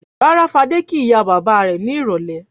Rárá, Fadé kí ìyá-bàbá rẹ̀ ní ìrọ́lẹ́.